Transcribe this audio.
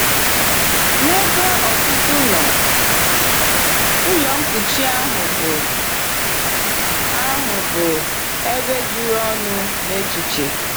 N’ebe ọtụtụ nọ, ụlọ nkụchi ahụ bụ ahụ bụ ebe juru ọnụ n’echiche.